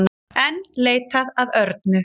Enn leitað að Örnu